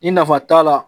Ni nafa t'a la